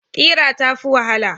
Ƙira ta fi wahala.